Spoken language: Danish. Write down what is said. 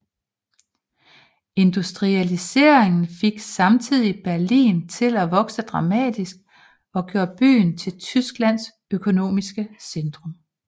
Industrialiseringen fik samtidig Berlin til at vokse dramatisk og gjorde byen til Tysklands økonomiske centrum